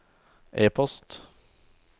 e-post